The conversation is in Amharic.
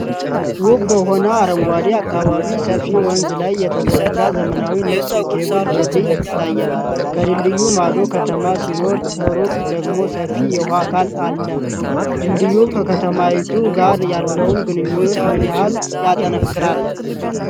ውብ በሆነ አረንጓዴ አካባቢ፣ ሰፊ ወንዝ ላይ የተዘረጋ ዘመናዊ ነጭ የኬብል ድልድይ ይታያል። ከድልድዩ ማዶ ከተማ ሲኖር፣ ከሩቅ ደግሞ ሰፊ የውሃ አካል አለ። ድልድዩ ከከተማይቱ ጋር ያለውን ግንኙነት ምን ያህል ያጠናክራል?